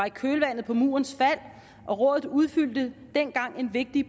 i kølvandet på murens fald og rådet udfyldte dengang en vigtig